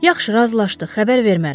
Yaxşı, razılaşdıq, xəbər vermərəm.